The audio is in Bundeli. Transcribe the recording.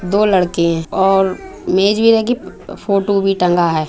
दो लड़के हैंऔर मेज़ भी लगी है फोटो भी टंगा है।